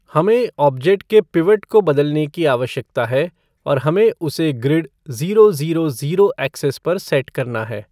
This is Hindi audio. हमें ऑब्जेक्ट के पिवट को बदलने की आवश्कता है और हमें उसे grid zero zero zero axis पर सेट करना है।